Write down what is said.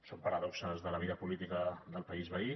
són paradoxes de la vida política del país veí